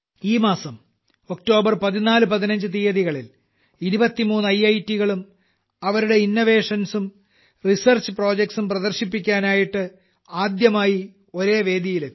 ഈ മാസം ഒക്ടോബർ 14 15 തീയതികളിൽ 23 ഐറ്റ് കളും തങ്ങളുടെ ഇന്നോവേഷൻസ് ഉം റിസർച്ച് റിസർച്ച് പ്രൊജക്റ്റ്സ് ഉം പ്രദർശിപ്പിക്കാനായിട്ട് ആദ്യമായിട്ട് ഒറ്റ വേദിയിലെത്തി